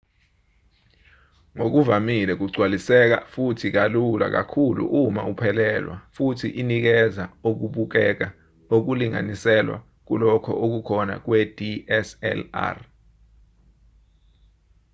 ngokuvamile kugcwaliseka futhi kalula kakhulu uma uphelelwa futhi inikeza okubukeka okulinganiselwa kulokho okukhona kwe-dslr